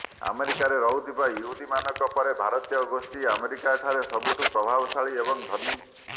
ଆମେରିକାରେ ରହୁଥିବା ୟହୁଦୀମାନଙ୍କ ପରେ ଭାରତୀୟ ଗୋଷ୍ଠୀ ଆମେରିକାରେ ସବୁଠୁ ପ୍ରଭାବଶାଳୀ ଏବଂ ଧନୀ